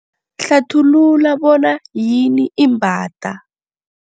Hlathulula bona yini imbada.